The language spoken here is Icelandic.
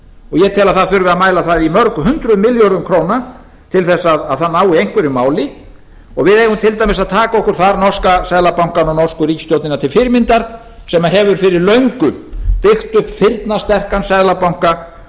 að það þurfi að mæla það í mörg hundruð milljörðum króna til þess að það nái einhverju máli og við eigum til dæmis að taka okkur þar norska seðlabankann og norsku ríkisstjórnina til fyrirmyndar sem hefur fyrir löngu byggt upp firnasterkan seðlabanka